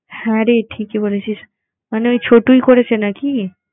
হ্যাঁ রে ঠিকই বলেছিস। মানে ওই ছটুই করেছে নাকি?